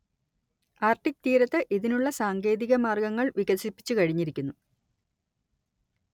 Arctic തീരത്ത് ഇതിനുള്ള സാങ്കേതിക മാർഗങ്ങൾ വികസിപ്പിച്ചു കഴിഞ്ഞിരിക്കുന്നു